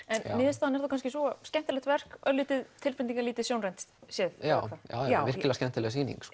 niðurstaðan er kannski sú skemmtilegt verk örlítið tilbreytingalítið sjónrænt séð já já já virkilega skemmtileg sýning